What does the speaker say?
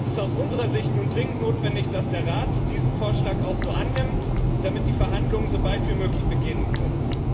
Es ist aus unserer Sicht nun dringend notwendig, dass der Rat diesen Vorschlag auch so annimmt, damit die Verhandlungen so bald wie möglich beginnen können.